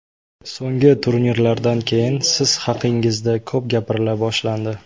So‘nggi turnirlardan keyin siz haqingizda ko‘p gapirila boshlandi.